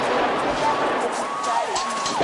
Mũrwaru rĩrĩa agũthiĩ thibitalĩinĩ